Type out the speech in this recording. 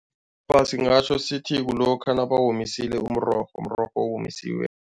Singatjho sithi kulokha nabawomisile umrorho, mrorho owomisiwe.